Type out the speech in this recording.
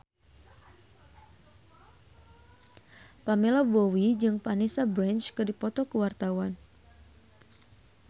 Pamela Bowie jeung Vanessa Branch keur dipoto ku wartawan